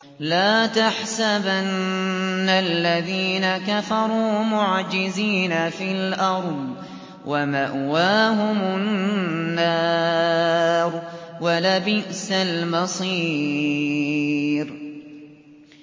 لَا تَحْسَبَنَّ الَّذِينَ كَفَرُوا مُعْجِزِينَ فِي الْأَرْضِ ۚ وَمَأْوَاهُمُ النَّارُ ۖ وَلَبِئْسَ الْمَصِيرُ